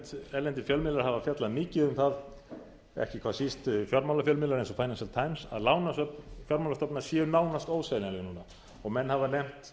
erlendir fjölmiðlar hafa fjallað mikið um það ekki hvað síst fjármálafjölmiðlar eins og financial times að lánasöfn fjármálastofnana séu nánast óseljanleg núna og menn hafa nefnt